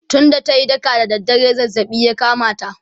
tun da tayi daka da dare zazzabi ya kamata